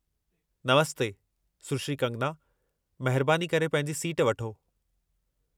नमस्ते, सुश्री कंगना! महिरबानी करे पंहिंजी सीट वठो।